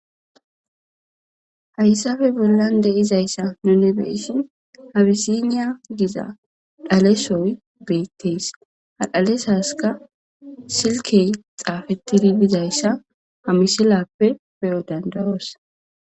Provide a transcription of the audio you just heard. hayssafe bollan de'izayssa nuni be'ishin abisiniya giza dhalesoy beettees ha dhalesaska silkey xaafettidi dizayssa ha misilappe beyo danda'os